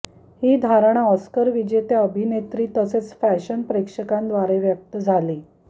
ही धारणा ऑस्करविजेत्या अभिनेत्री तसेच फॅशन प्रेक्षकांद्वारे व्यक्त झाली